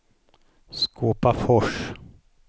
Skåpafors